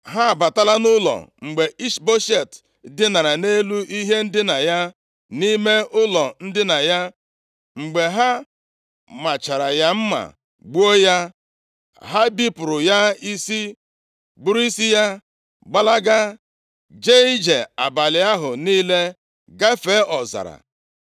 Ha abatala nʼụlọ mgbe Ishboshet dinara nʼelu ihe ndina ya, nʼime ụlọ ndina ya. Mgbe ha machara ya mma, gbuo ya, ha bipụrụ ya isi. Buru isi ya gbalaga. Jee ije abalị ahụ niile gafee ọzara.